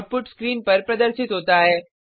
output screen पर प्रदर्शित होता है